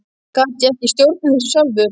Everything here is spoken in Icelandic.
Gat ég ekki stjórnað þessu sjálfur?